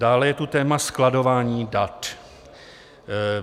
Dále je tu téma skladování dat.